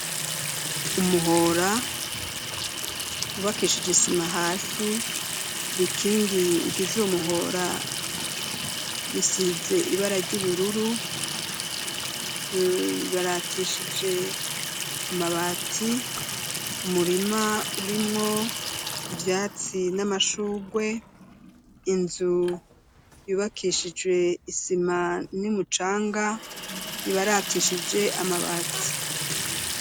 Umuhora ubakishije isima hasi bikingi bigize uumuhora bisize ibara ry'ubururu ibaratishije amabati umurima urimwo ivyatsi n’amashugwe inzu yubakishije isima n'umucanga ibaratishije amabati.